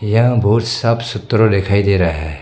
यहां बहुत साफ सुथरों दिखाई दे रहा है।